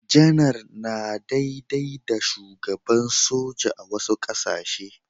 Janar yana daidai da Shugaban soja a wasu ƙasashe.